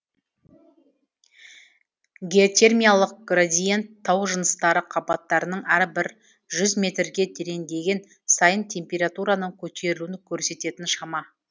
геотермиялық градиент тау жыныстары қабаттарының әрбір жүз метрге тереңдеген сайын температураның көтерілуін көрсететін шама